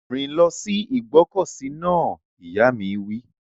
Rìn lọ sí ìgbọ́kọ̀sí náà! Ìyá mi wí.